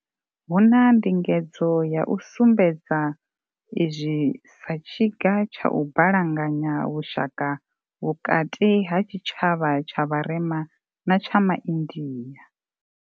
Hu na ndingedzo ya u sumbedza izwi sa tshiga tsha u balanganya vhu shaka vhukati ha tshi tshavha tsha vharema na tsha ma india.